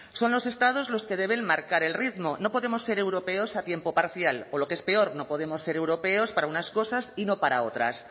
son los estados los que deben marcar el ritmo no podemos ser europeos a tiempo parcial o lo que es peor no podemos ser europeos para unas cosas y no para otras